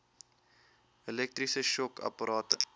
elektriese shock apparate